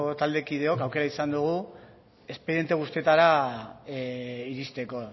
taldekideok aukera izan dugu espediente guztietara iristeko